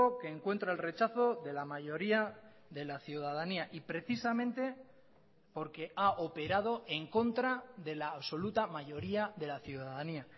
que encuentra el rechazo de la mayoría de la ciudadanía y precisamente porque ha operado en contra de la absoluta mayoría de la ciudadanía